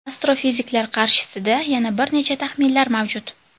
Astrofiziklar qarshisida yana bir necha taxminlar mavjud.